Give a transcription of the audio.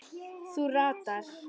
Þú ratar?